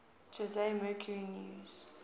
jose mercury news